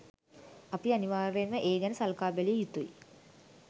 අපි අනිවර්යයෙන්ම ඒ ගැන සලකා බැලිය යුතුයි.